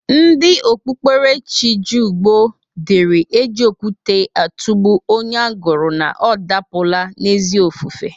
Ndị okpuberechi jụụ gboo dịri e ji okwute atụgbụ onye agụrụ na ọ dapụla n'ezi ofufe.